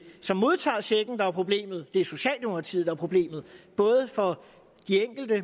som modtager checken der er problemet det er socialdemokratiet der er problemet både for de enkelte